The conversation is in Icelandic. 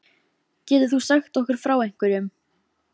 Getur þú sagt okkur frá einhverjum?